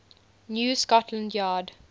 new scotland yard